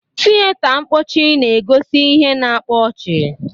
Tiyeta mpọchị na-egosi ihe na-akpa ọchị.